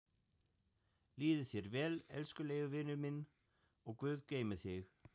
Líði þér vel, elskulegi vinurinn minn og guð geymi þig.